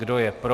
Kdo je pro?